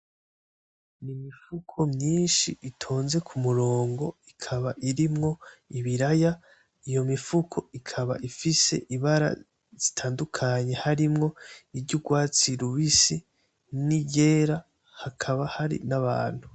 Imifuko myinshi itonze kumurongo, ikaba irimwo ibiraya. Iyo mifuko ikaba ifise ibara zitandukanye harimwo iry'urwatsi rubisi, n' iryera hakaba hari n'abantu.